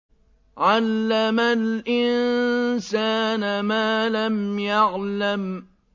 عَلَّمَ الْإِنسَانَ مَا لَمْ يَعْلَمْ